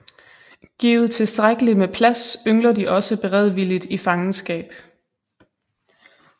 Givet tilstrækkeligt med plads yngler de også beredvilligt i fangenskab